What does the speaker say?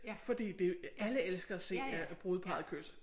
Fordi det alle elsker at se øh brudeparret kysse